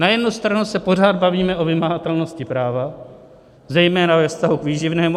Na jednu stranu se pořád bavíme o vymahatelnosti práva, zejména ve vztahu k výživnému.